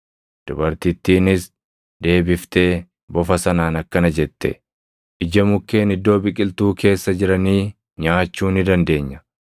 Dubartittiinis deebiftee bofa sanaan akkana jette; “Ija mukkeen iddoo biqiltuu keessa jiranii nyaachuu ni dandeenya;